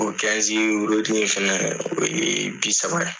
O wurudi in fɛnɛ o ye bi saba ye.